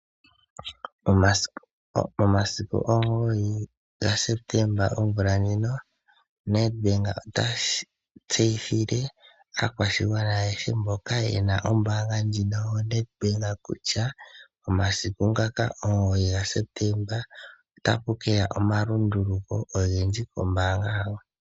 Momasiku 9 Septemba omvula ndjino, NedBank ota tseyithile aakwashigwana ayehe mboka yena ombaanga ndjino yo NedBank, kutya omasiku ngoka 9 Septemba ota pu keya omalunduluko ogendji kombaanga yawo.